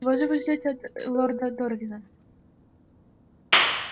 чего же вы ждёте от лорда дорвина